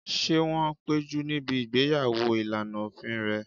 Ṣé wọ́n péjú níbi ìgbéyàwó ìlànà òfin rẹ̀?